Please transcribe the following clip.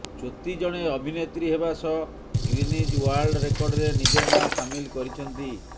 ଜ୍ୟୋତି ଜଣେ ଅଭିନେତ୍ରୀ ହେବା ସହ ଗିନିଜ ୱାର୍ଲଡ ରେକର୍ଡରେ ନିଜ ନାଁ ସାମିଲ କରିଛନ୍ତି